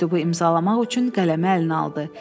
Məktubu imzalamaq üçün qələmi əlinə aldı.